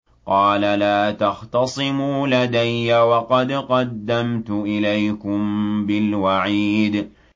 قَالَ لَا تَخْتَصِمُوا لَدَيَّ وَقَدْ قَدَّمْتُ إِلَيْكُم بِالْوَعِيدِ